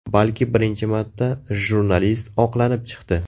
Balki birinchi marta jurnalist oqlanib chiqdi.